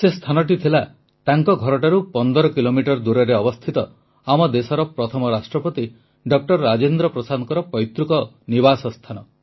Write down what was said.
ସେ ସ୍ଥାନଟି ଥିଲା ତାଙ୍କ ଘରଠାରୁ 15 କିଲୋମିଟର ଦୂରରେ ଅବସ୍ଥିତ ଆମ ଦେଶର ପ୍ରଥମ ରାଷ୍ଟ୍ରପତି ଡ ରାଜେନ୍ଦ୍ର ପ୍ରସାଦଙ୍କ ପୈତୃକ ନିବାସ ସ୍ଥାନ